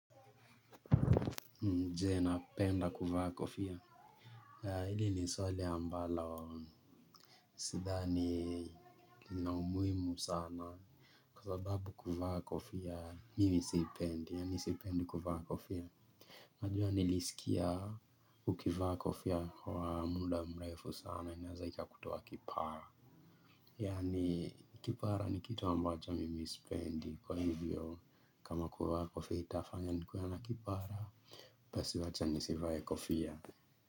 Mimi je napenda kuvaa kofia. Hili ni swali ambalo, sidhani lina umuhimu sana. Kwa sababu kuvaa kofia, mimi sipendi. Yani sipendi kuvaa kofia. Unajua nilisikia ukivaa kofia wa muda mrefu sama. Inaeza ikakutoa kipara. Yani kipara ni kitu ambacho mimi sipendi. Kwa hivyo kama kuvaa kofia itafanya nikuwe na kipara. Basi wacha nisivae kofia.